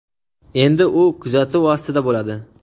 endi u kuzatuv ostida bo‘ladi.